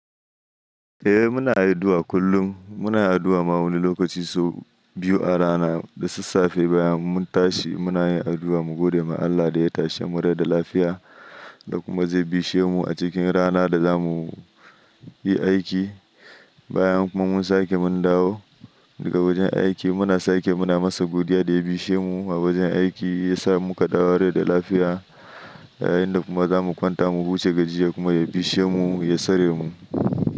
Eh muna addu'a kullum, muna addu'a ma wani lokaci sau biyu a rana, da sassafe bayan mun tashi muna yin addu'a mu gode ma Allah da ya tashe mu rai da lafiya, da kuma zai bishe mu a cikin rana da zamu yi aiki. Bayan kuma mun sake mun dawo daga wajen aiki muna sake muna masa godiya da ya bishe mu a wajen aiki, ya sa mu ka dawowa rai da lafiya, yayin da kuma zamu kwanta mu huce gajiya kuma ya bishe mu, ya sare mu.